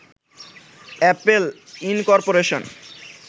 Apple incorporation